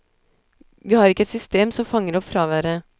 Vi har ikke et system som fanger opp fraværet.